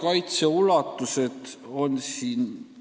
Aitäh!